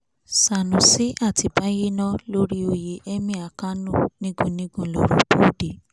sanusi àti bayerno lórí oyè emir kánò nígun nígun lọ̀rọ̀ bọ́ọ̀dẹ̀